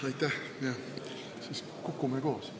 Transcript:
Jah, siis kukume koos.